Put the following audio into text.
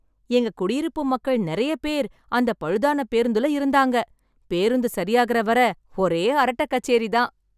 எங்க குடியிருப்பு மக்கள் நிறைய பேர் அந்த பழுதான பேருந்துல இருந்தாங்க, பேருந்து சரியாகுற வரை ஒரே அரட்டை கச்சேரி தான்.